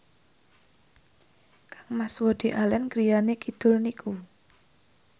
kangmas Woody Allen griyane kidul niku